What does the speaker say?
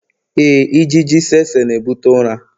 Éè, ijiji tsetse na-ebute ụra.